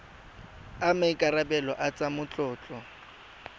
a maikarebelo a tsa matlotlo